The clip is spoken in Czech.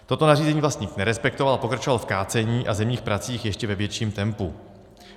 Toto nařízení vlastník nerespektoval a pokračoval v kácení a zemních pracích ještě ve větším tempu.